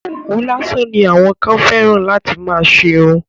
Òwú lásán ni àwọn kan fẹ́ràn láti fi má ṣerun.